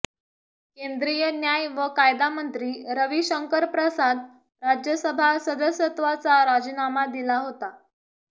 केंद्रीय न्याय व कायदामंत्री रविशंकर प्रसाद राज्यसभा सदस्यत्वाचा राजीनामा दिला होता